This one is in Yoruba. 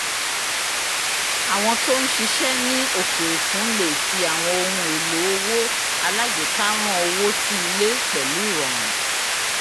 àwọn tó ń ṣiṣẹ́ ní òkè òkun le fi àwọn ohun èlò owó alágbèéká rán owó sí ilé pẹ̀lú rọrùn